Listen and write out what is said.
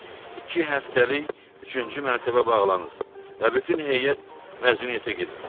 Bəli, iki həftəlik üçüncü mərtəbə bağlanır və bütün heyət məzuniyyətə gedir.